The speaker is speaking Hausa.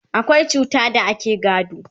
akwai cuta da ake gado